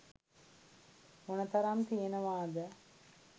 මොන තරම් තියෙනවාද?